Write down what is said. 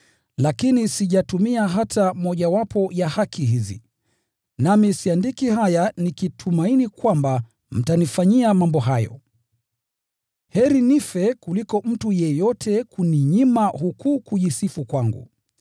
Lakini sijatumia hata mojawapo ya haki hizi. Nami siandiki haya nikitumaini kwamba mtanifanyia mambo hayo. Heri nife kuliko mtu yeyote kuninyima huku kujisifu kwangu.